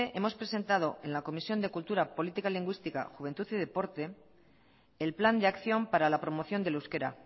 hemos presentado en la comisión de cultura política lingüística juventud y deporte el plan de acción para la promoción del euskera